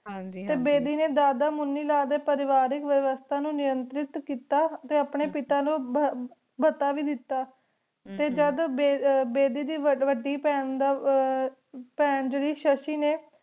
ਹਾਂਜੀ ਹਾਂਜੀ ਟੀ ਬੇਦੀ ਨੀ ਦਾਦਾ ਮੁਨੀ ਲਾਲ ਦੇ ਪਾਰਿਵਾਰਿ ਵਿਵਾਸਤਾ ਨੂ ਨਿਮੰਤ੍ਰਿਤ ਕੀਤਾ ਟੀ ਅਪਨੀ ਪਿਤਾ ਨੂ ਭਾਟਾ ਵੇ ਡਿਟ ਟੀ ਜਦ ਬੇਦੀ ਦੇ ਵਾਦੀ ਬੇਹਨ ਦਾ ਜੇਰੀ ਸ਼ਸ਼ੀ ਨੀ